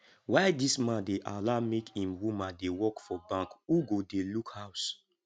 why dis man dey allow make im woman dey work for bank who go dey look house